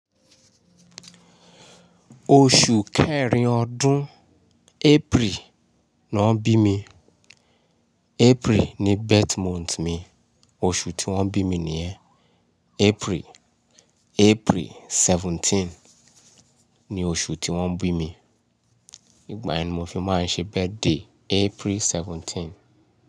Oṣù kẹrin ọdún April ni wọ́n bí mi. April ní birth month mi, oṣù tí wọ́n bí mi nìyẹn. April, April seventeen ni oṣù tí wọ́n bí mi. Ìgbà yìí ni mo fi máa ń ṣe birthday, April seventeen.